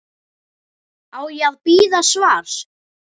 Á ég að bíða svars?